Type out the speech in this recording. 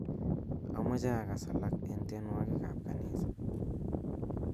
amoche agas alak en tienwogik ab kanisa